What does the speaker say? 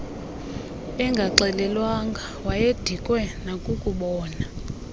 engaxelelwanga wayedikwe nakukubona